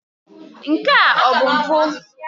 Nke a ọ bụ mpụ?